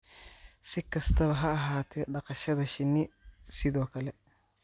Si kastaba ha ahaatee, dhaqashada shinni sidoo kale